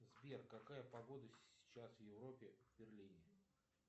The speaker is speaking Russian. сбер какая погода сейчас в европе в берлине